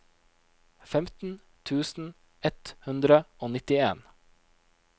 femten tusen ett hundre og nittien